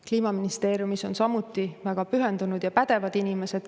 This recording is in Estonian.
Kliimaministeeriumis on väga pühendunud ja pädevad inimesed.